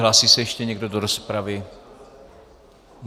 Hlásí se ještě někdo do rozpravy?